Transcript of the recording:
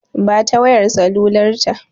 Ba ta wayar salular ta!